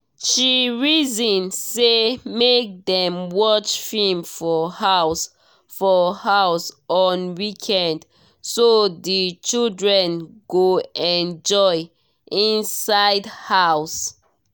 she reason say make dem watch film for house for house on weekend so the children go enjoy inside house